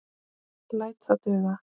Læt það duga.